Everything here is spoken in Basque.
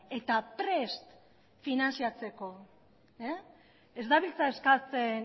eta prest daude finantziatzeko ez dabiltza eskatzen